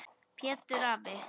Pétur afi.